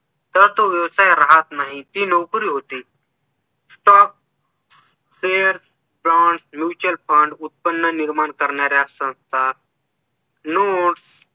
तर तो व्यवसाय राहत नाही ती नोकरी होते stock share plot mutual fund उत्पन्न निर्माण करणाऱ्यांकरता